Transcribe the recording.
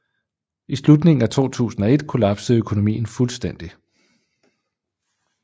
I slutningen af 2001 kollapsede økonomien fuldstændig